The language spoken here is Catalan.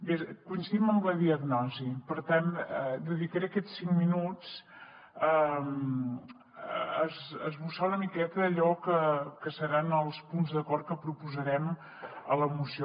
bé coincidim en la diagnosi per tant dedicaré aquests cinc minuts a esbossar una miqueta allò que seran els punts d’acord que proposarem a la moció